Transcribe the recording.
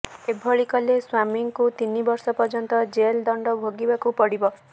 ଏଭଳି କଲେ ସ୍ୱାମୀଙ୍କୁ ତିନିବର୍ଷ ପର୍ଯ୍ୟନ୍ତ ଜେଲ୍ ଦଣ୍ଡ ଭୋଗିବାକୁ ପଡିବ